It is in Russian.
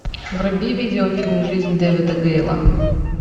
вруби видеофильм жизнь дэвида гейла